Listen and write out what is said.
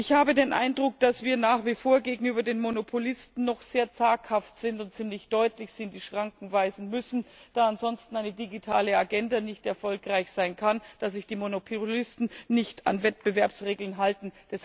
Ich habe den Eindruck, dass wir nach wir vor gegenüber den Monopolisten noch sehr zaghaft sind und sie ziemlich deutlich in die Schranken weisen müssen, da ansonsten eine digitale Agenda nicht erfolgreich sein kann, da sich die Monopolisten nicht an Wettbewerbsregeln halten.